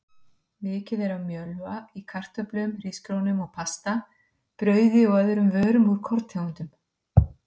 Mikið er af mjölva í kartöflum, hrísgrjónum og pasta, brauði og öðrum vörum úr korntegundum.